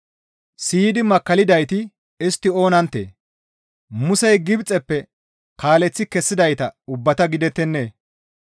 Siyidi makkallidayti istti oonanttee? Musey Gibxeppe kaaleththi kessidayta ubbata gidettennee?